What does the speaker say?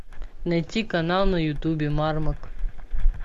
найти канал на ютубе мармок